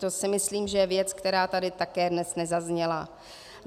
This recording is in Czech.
To si myslím, že je věc, která tady dnes také nezazněla.